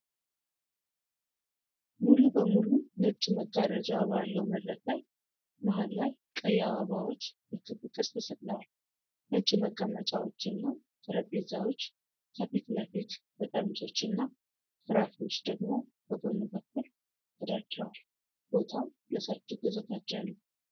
ሙሉ በሙሉ ነጭ መጋረጃ ባለው መድረክ ላይ፣ መሃል ላይ ቀይ አበባዎች በክብ ቅርጽ ተሰቅለዋል። ነጭ መቀመጫዎች እና ጠረጴዛዎች ከፊት ለፊት፣ በጠርሙሶችና ፍራፍሬዎች ደግሞ በጎን በኩል ተደርድረዋል። ቦታው ለሠርግ የተዘጋጀ ነው።